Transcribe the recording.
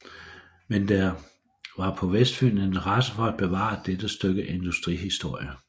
Men der var på Vestfyn interesse for at bevare dette stykke industrihistorie